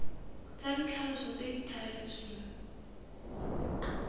tsa ditlhaloso tse di thaletsweng